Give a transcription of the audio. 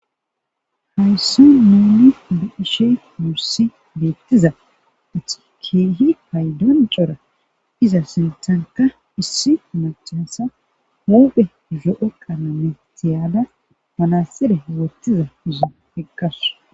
Hayssi muuni buishe mursi deettiza achikeehi paydon cora iza sintanka issi machasa huphe zo'o qaname tiyaada manassire wortiza izo heqqasu.